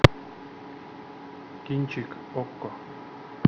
кинчик окко